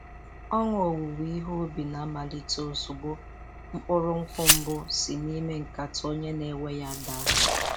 Ọṅụ owuwe ihe ubi na-amalite ozugbo mkpụrụ nkwụ mbụ si n'ime nkata onye na-ewe ya daa.